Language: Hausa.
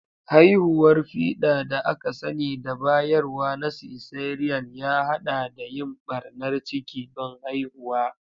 Hanyar fiɗa da aka sani da bayarwa na cesarean ya haɗa da yin ɓarnar ciki don haihuwa.